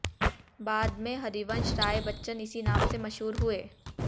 बाद में हरिवंश राय बच्चन इसी नाम से मशहूर हुए